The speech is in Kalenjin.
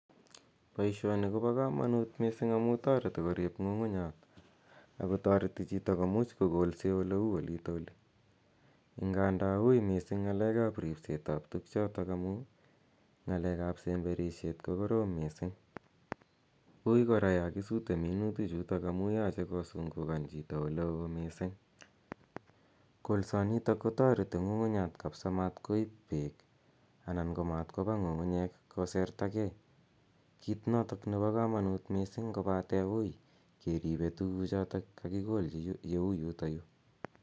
Poishoni ko oa kamanut missing' amu tareti korip ng'ung'unyat ako tareti chito komuch kokolse ole u olita oli. Nganda ui missing' ng'alekap rispsetap tugchotok amu ng'alek ap sembetishet ko korom missing'. Ui kora ya kisute minutichutok amu yache kosungukan chito ole oo missing'. Kolsanitok ko tareti ng'ung'unyat kapisa matkoip peek anan ko matkopa ng'ung'unyek koserya gei. Kiit notok nepa kamanut missing' kopate ui keripe tuguchotok kakikolchi yeu yutayu.